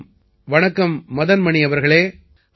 வணக்கம் வணக்கம் மதன் மணி அவர்களே